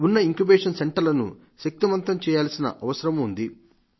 ఉన్న ఇంక్యుబేషన్ సెంటర్లను శక్తివంతం చేయాల్సిన అవసరమూ ఉంది